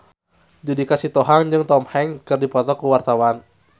Judika Sitohang jeung Tom Hanks keur dipoto ku wartawan